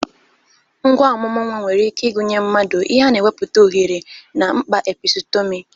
Ngwa omumu nwa nwere ike ịgụnye mmado, ihe na-ewepụta oghere, na mkpa episutomi.